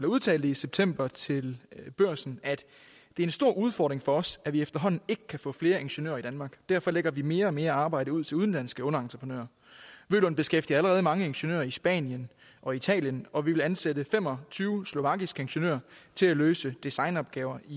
udtalte i september til børsen det er en stor udfordring for os at vi efterhånden ikke kan få flere ingeniører i danmark derfor lægger vi mere og mere arbejde ud til udenlandske underentreprenører vølund beskæftiger allerede mange ingeniører i spanien og italien og vil ansætte fem og tyve slovakiske ingeniører til at løse designopgaver i